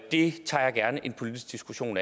det tager jeg gerne en politisk diskussion